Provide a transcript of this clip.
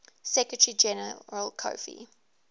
secretary general kofi